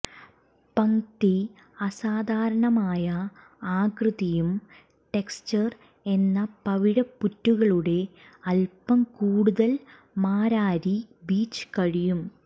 പംക്തി അസാധാരണമായ ആകൃതിയും ടെക്സ്ചർ എന്ന പവിഴപ്പുറ്റുകളുടെ അല്പം കൂടുതൽ മാരാരി ബീച്ച് കഴിയും